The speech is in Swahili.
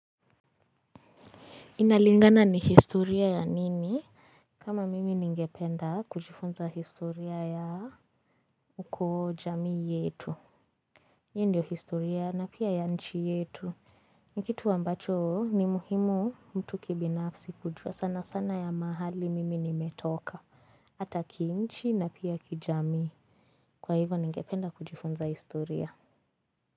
Inalingana ni historia ya nini kama mimi ningependa kujifunza historia ya ukoo jamii yetu hii ndio historia na pia ya nchi yetu ni kitu ambacho ni muhimu mtu kibinafsi kujua sana sana ya mahali mimi nimetoka ata ki nchi na pia kijamii kwa hivyo ningependa kujifunza historia.